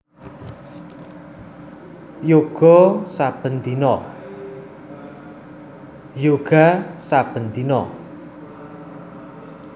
Yoga saben dina